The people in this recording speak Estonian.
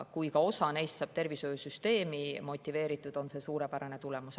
Kui ka ainult osa neist saab tervishoiusüsteemi motiveeritud, siis on see suurepärane tulemus.